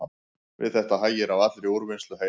Við þetta hægir á allri úrvinnslu heilans.